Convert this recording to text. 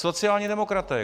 Sociální demokraté.